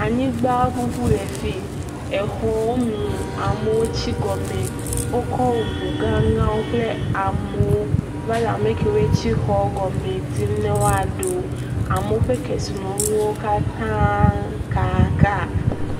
Anyigba ŋuŋu le fi, exɔwo mu, amewo tsi gɔme, wokɔ ŋu gã gaãwo kple amewo va le ame kewo tsi xɔ gɔma dim ne woaɖe wo, amwo ƒe kesinɔnuwo katãa kaaka.